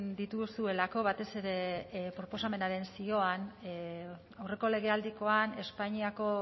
dituzuelako batez ere proposamenaren zioan aurreko legealdikoan espainiako